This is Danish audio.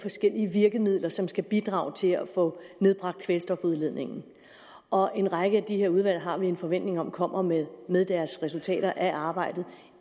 forskellige virkemidler som skal bidrage til at få nedbragt kvælstofudledningen og en række af de her udvalg har vi en forventning om kommer med med deres resultater af arbejdet